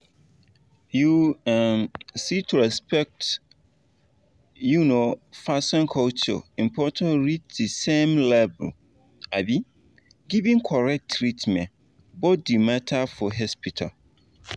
you um see to respect um person culture important reach the same level as um giving correct treatment. both dey matter for hospital.